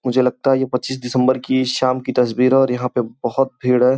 मुझे लगता है ये पच्चीस दिसम्बर की इस शाम की तस्वीर है और यहाँ पे बहुत भीड़ है।